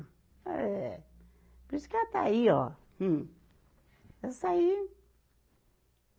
É. Por isso que ela está aí, ó, hum. Essa aí.